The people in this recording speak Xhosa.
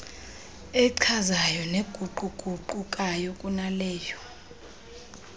echazayo neguquguqukayo kunaleyo